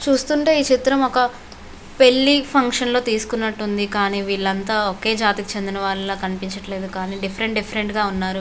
చూస్తుంటే చిత్రం ఒక పెళ్లి ఫంక్షన్ లో తీసుకున్నట్టుగా ఉంది. అంతా ఒకే జాతికి సంబంధించిన వాళ్ళ కనిపించట్లేదు. డిఫరెంట్ గా ఉన్నారు.--